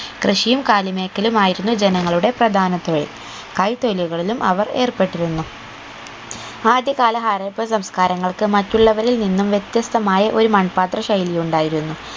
കൃഷിയും കാലിമേക്കലും ആയിരുന്നു ജനങ്ങളുടെ പ്രധാന തൊഴിൽ കൈ തൊഴിലുകളിലും അവർ ഏർപ്പെട്ടിരുന്നു ആദ്യകാല ഹാരപ്പൻ സംസ്ക്കാരങ്ങൾക്ക് മറ്റുള്ളവരിൽ നിന്നും വ്യത്യസ്തമായ ഒരു മൺപാത്ര ശൈലി ഉണ്ടായിരുന്നു